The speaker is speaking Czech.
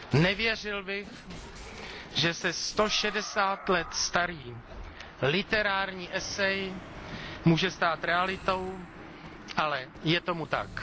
Nevěřil bych, že se 160 let starý literární esej může stát realitou, ale je tomu tak.